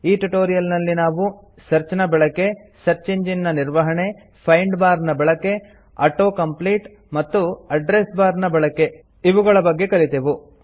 ಈ ಟ್ಯುಟೋರಿಯಲ್ ನಲ್ಲಿ ನಾವು ಸರ್ಚ್ ನ ಬಳಕೆ ಸರ್ಚ್ ಇಂಜಿನ್ ನ ನಿರ್ವಹಣೆ ಫೈಂಡ್ ಬಾರ್ ನ ಬಳಕೆ ಆಟೋ ಕಾಂಪೀಟ್ ಮತ್ತು ಅಡ್ರೆಸ್ ಬಾರ್ ನ ಬಳಕೆ ಇವುಗಳ ಬಗ್ಗೆ ಕಲಿತೆವು